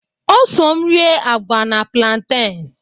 O so m rịe agwa na plantain.